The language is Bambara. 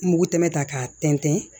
N mugu tɛmɛ ta k'a tɛntɛn